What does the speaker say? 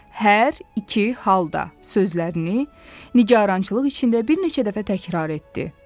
Hər iki halda sözlərini nigarançılıq içində bir neçə dəfə təkrar etdi.